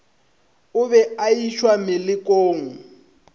o be a išwa melokong